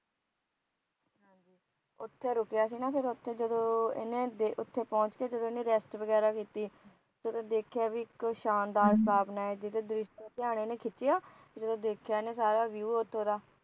ਉੱਥੇ ਰੁਕਿਆ ਸੀ ਨਾ ਫਿਰ ਉਥੇ ਜਦੋਂ ਇਹਨੇ ਉੱਥੇ ਪਹੁੰਚ ਕੇ ਜਦੋਂ ਇਹਨੇ ਰੈਸਟ ਵਗੈਰਾ ਕੀਤੀ ਜਦੋਂ ਦੇਖਿਆ ਕਿ ਇਕ ਸ਼ਾਨਦਾਰ ਧਿਆਨ ਖਿਚਿਆ ਜੋਦਂ ਦੇਖਿਆ ਇਹਨੇ ਸਾਰੇ ਵਿਓ ਉਥੋਂ ਦਾ